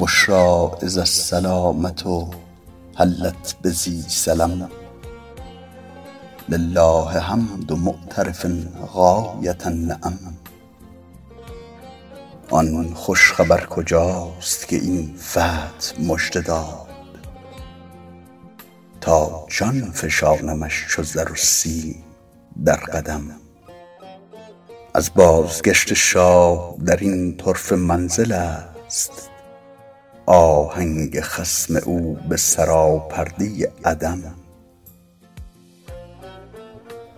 بشری اذ السلامة حلت بذی سلم لله حمد معترف غایة النعم آن خوش خبر کجاست که این فتح مژده داد تا جان فشانمش چو زر و سیم در قدم از بازگشت شاه در این طرفه منزل است آهنگ خصم او به سراپرده عدم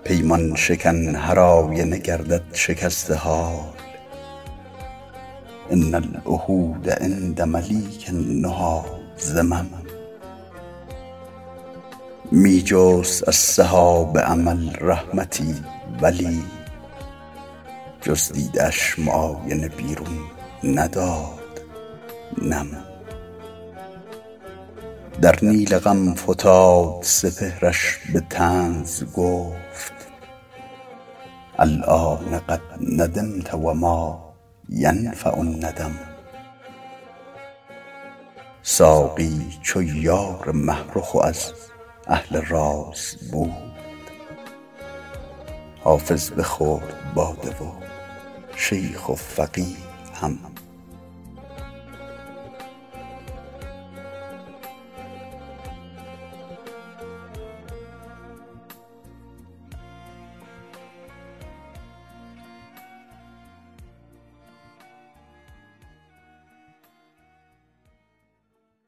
پیمان شکن هرآینه گردد شکسته حال ان العهود عند ملیک النهی ذمم می جست از سحاب امل رحمتی ولی جز دیده اش معاینه بیرون نداد نم در نیل غم فتاد سپهرش به طنز گفت الآن قد ندمت و ما ینفع الندم ساقی چو یار مه رخ و از اهل راز بود حافظ بخورد باده و شیخ و فقیه هم